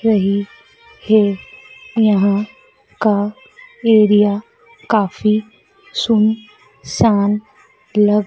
रही है यहां का एरिया काफी सुन सान लग--